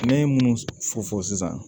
Ne ye minnu fɔ fɔ sisan